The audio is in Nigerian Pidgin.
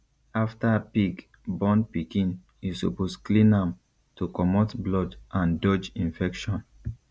after pig born pikin you suppose clean am to comot blood and dodge infection